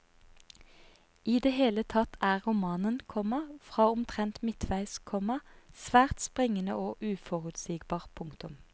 I det hele tatt er romanen, komma fra omtrent midtveis, komma svært springende og uforutsigbar. punktum